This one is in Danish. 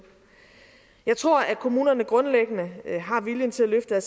jeg tror at kommunerne grundlæggende har viljen til at løfte